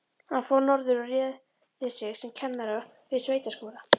Hann fór norður og réði sig sem kennara við sveitaskóla.